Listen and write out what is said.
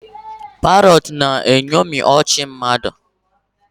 Parrots na-eṅomi ọchị mmadụ